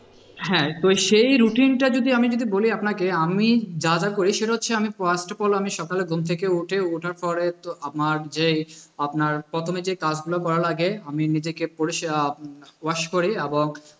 হ্যাঁ তো সেই routine টা যদি আমি যদি বলি আপনাকে আমি যা যা করি সেটা হচ্ছে আমি first of all আমি সকালে ঘুম থেকে উঠে ওঠার পরে তো আমার যে আপনার প্রথমে যে কাজগুলো করার আগে আমি নিজেকে পরিষ্কার উম wash করি এবং